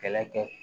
Kɛlɛ kɛ